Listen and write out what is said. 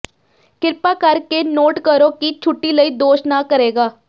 ਕਿਰਪਾ ਕਰਕੇ ਨੋਟ ਕਰੋ ਕਿ ਛੁੱਟੀ ਲਈ ਦੋਸ਼ ਨਾ ਕਰੇਗਾ